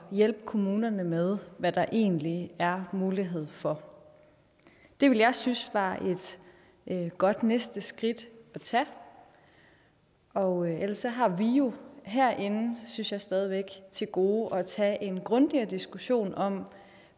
hjælpe kommunerne med hvad der egentlig er mulighed for det ville jeg synes var et godt næste skridt at tage og ellers har vi jo herinde synes jeg stadig væk til gode at tage en grundigere diskussion om